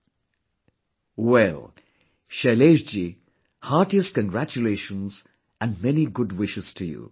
" Well, Shailesh ji, heartiest congratulations and many good wishes to you